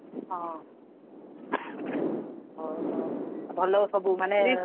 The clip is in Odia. ହଁ ଓହୋ, ଆଉ ଭଲରେ ସବୁ ମାନେ ।